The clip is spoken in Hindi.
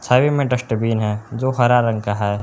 साइड में डस्टबिन है जो हरा रंग का है।